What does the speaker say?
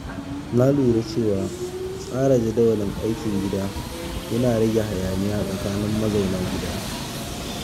Na lura cewa tsara jadawalin aikin gida yana rage hayaniya tsakanin mazauna gida.